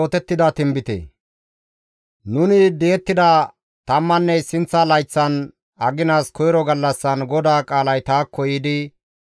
Nuni di7ettida tammanne issinththa layththan, aginas koyro gallassan GODAA qaalay taakko yiidi,